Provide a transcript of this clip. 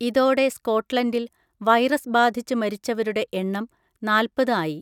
ഇതോടെ സ്‌കോട്ട്‌ലൻഡിൽ വൈറസ് ബാധിച്ച് മരിച്ചവരുടെ എണ്ണം നാല്‍പത്‌ ആയി.